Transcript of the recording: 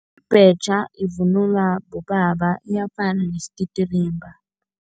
Ibhetjha ivunulwa bobaba, iyafana nesititirimba.